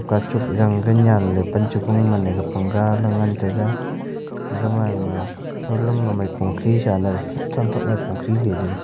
gachock zang ga nyanley pan cha gung mane ga pang galay ngan taiga gaman thoulam ma maipong khi sha na thramthrak ma maipong khiley--